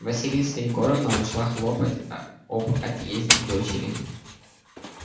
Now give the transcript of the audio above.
василиса егоровна ушла хлопать об отъезде дочери